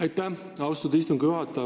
Aitäh, austatud istungi juhataja!